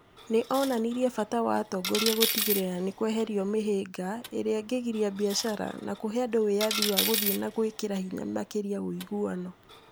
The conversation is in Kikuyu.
Nĩ onanirie bata wa atongoria gũtigĩrĩra ni kweherio mĩhĩnga ĩrĩa ĩgiria biacara, na kũhe andũ wĩyathi wa gũthiĩ na gwĩkĩra hinya makĩria ũiguano.